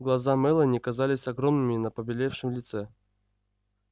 глаза мелани казались огромными на побелевшем лице